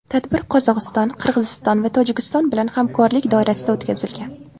Tadbir Qozog‘iston, Qirg‘iziston va Tojikiston bilan hamkorlik doirasida o‘tkazilgan.